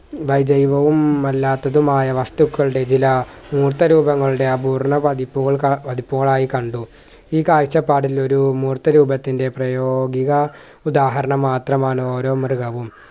അല്ലാത്തതുമായ വസ്‌തുക്കളുടെ വില മൂർത്ത രൂപങ്ങളുടെ അപൂർണ പതിപ്പുകൾ കണ പതിപ്പുകളായി കണ്ടു ഈ കാഴ്ച്ചപാടിൽ ഒരു മൂർത്ത രൂപത്തിൻ്റെ പ്രയോഗിക ഉദാഹരണം മാത്രമാണ് ഓരോ മൃഗവും.